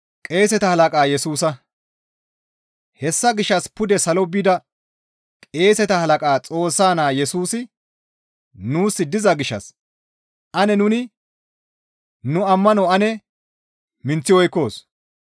Hessa gishshas pude salo bida qeeseta halaqa Xoossa Naa Yesusi nuus diza gishshas ane nuni nu ammano ane minththi oykkoos.